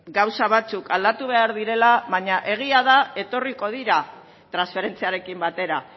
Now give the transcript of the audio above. gauza batzuk aldatu behar direla baina egia da etorriko dira transferentziarekin batera